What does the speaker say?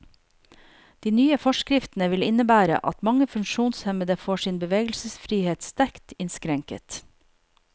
De nye forskriftene vil innebære at mange funksjonshemmede får sin bevegelsesfrihet sterkt innskrenket.